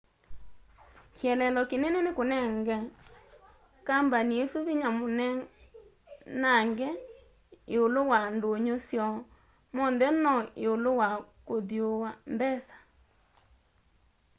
kielelo kinene ni kunenga kambani isu vinya munenange iulu wa ndunyu syoo monthe no iulu wa kuthyuua mbesa